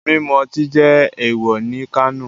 Mimu oti jẹ ewọ ni Kano